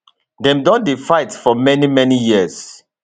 dem don dey fight for many many years